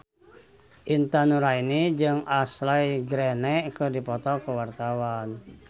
Intan Nuraini jeung Ashley Greene keur dipoto ku wartawan